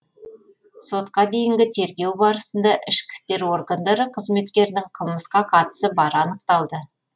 сотқа дейінгі тергеу барысында ішкі істер органдары қызметкерінің қылмысқа қатысы бары анықталды